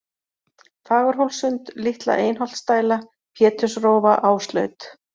Fagurhólssund, Litla-Einholtsdæla, Pétursrófa, Áslaut